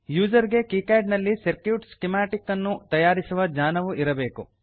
user ಗೆ KiCad ನಲ್ಲಿ circuit schematic ನ್ನು ತಯಾರಿಸುವ ಜ್ಞಾನವೂ ಇರಬೇಕು